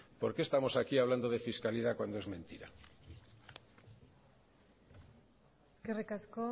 por qué estamos aquí hablando de fiscalidad cuando es mentira eskerrik asko